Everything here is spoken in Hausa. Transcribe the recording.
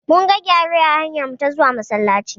Mun ga gyare a hanyarmu ta zuwa Masallaci.